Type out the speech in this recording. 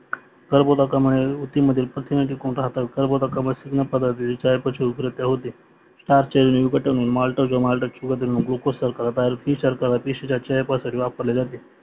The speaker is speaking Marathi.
कार्बोदकामळे उतीमध्ये प्रथिन टिकून राहतात कर्बोदकांमध्ये स्निग्ध पदार्थ